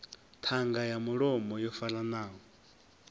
ṱhanga ya mulomo yo faranaho